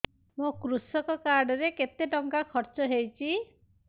ମୋ କୃଷକ କାର୍ଡ ରେ କେତେ ଟଙ୍କା ଖର୍ଚ୍ଚ ହେଇଚି